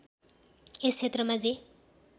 यस क्षेत्रमा जे